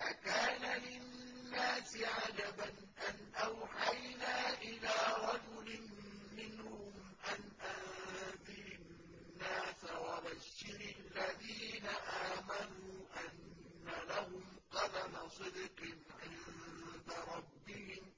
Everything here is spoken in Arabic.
أَكَانَ لِلنَّاسِ عَجَبًا أَنْ أَوْحَيْنَا إِلَىٰ رَجُلٍ مِّنْهُمْ أَنْ أَنذِرِ النَّاسَ وَبَشِّرِ الَّذِينَ آمَنُوا أَنَّ لَهُمْ قَدَمَ صِدْقٍ عِندَ رَبِّهِمْ ۗ